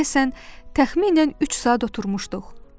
Deyəsən, təxminən üç saat oturmuşduq.